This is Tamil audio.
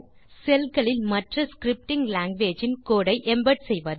செல் களில் மற்றscripting லாங்குவேஜஸ் இன் கோடு ஐ எம்பெட் செய்வது